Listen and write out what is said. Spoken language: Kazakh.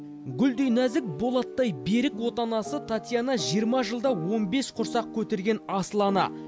гүлдей нәзік болаттай берік отанасы татьяна жиырма жылда он бес құрсақ көтерген асыл ана